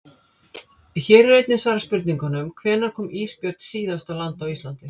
Hér er einnig svarað spurningunum: Hvenær kom ísbjörn síðast á land á Íslandi?